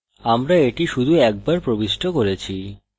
আমরা এটি শুধু একবার প্রবিষ্ট করেছি